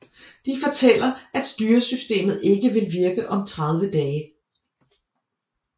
De fortæller at styresystemet ikke vil virke om 30 dage